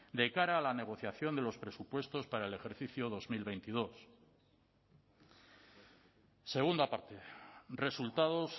de cara a la negociación de los presupuestos para el ejercicio dos mil veintidós segunda parte resultados